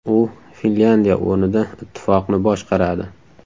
U Finlyandiya o‘rnida ittifoqni boshqaradi.